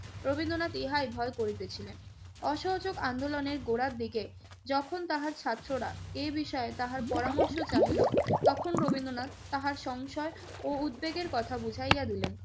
রবীন্দ্রনাথই হয় ভয় করিতেছিলেন। অসহযোগ আন্দোলনের গোড়ার দিকে যখন তাহার ছাত্ররা এ বিষয়ে তাহার পরামর্শ চাহিল, তখন রবীন্দ্রনাথ তাহার সংসয় ও উদ্বেগের কথা বুঝাইয়া দিলেন।